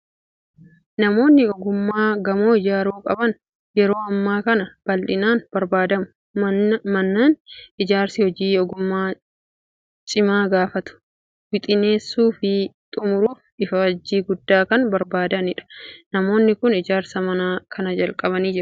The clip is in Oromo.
Namoonni ogummaa gamoo ijaaruu qaban yeroo ammaa kana bal'inaan barbaadamu. Mannin ijaarsi hojii ogummaa cimaa gaafatu, wixineessuu fi xumuruuf ifaajjii guddaa kan barbaadudha! Namoonni kun ijaarsa mana kanaa jalqabanii jiru.